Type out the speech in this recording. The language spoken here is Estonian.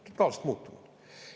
Totaalselt muutunud!